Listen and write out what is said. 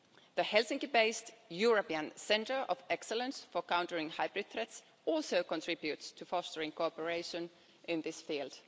The Helsinki based European Centre of Excellence for countering hybrid threats also contributes to fostering cooperation in this field.